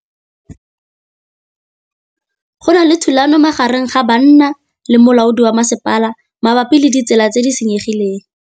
Go na le thulanô magareng ga banna le molaodi wa masepala mabapi le ditsela tse di senyegileng.